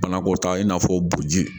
Banako ta i n'a fɔ buguji